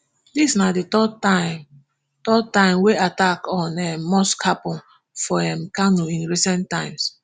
dis na di third time third time wey attack on um mosque happun for um kano in recent times